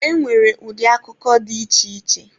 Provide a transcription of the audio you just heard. E nwere ụdị akụkọ dị iche iche.